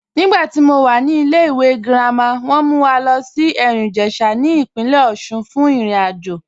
Nígbàtí mó wà ní ìlẹ̀-ìwé girama, wọn mú wà lọ sí Erin-Ijesha ní ipìnlẹ̀ Òṣun fún ìrìn-àjọ